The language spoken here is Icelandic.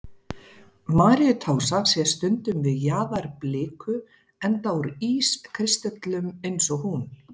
Maríutása sést stundum við jaðar bliku, enda úr ískristöllum eins og hún.